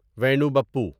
Venu Bapu